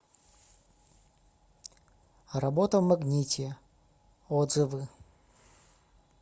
работа в магните отзывы